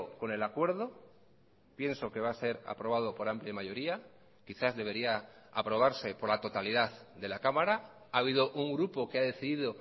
con el acuerdo pienso que va a ser aprobado por amplia mayoría quizás debería aprobarse por la totalidad de la cámara ha habido un grupo que ha decidido